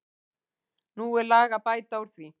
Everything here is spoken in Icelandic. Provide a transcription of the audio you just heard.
Nú er lag að bæta úr því.